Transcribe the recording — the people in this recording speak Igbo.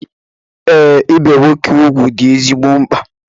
Ee, ibe nwoke ugwu dị ezigbo mkpa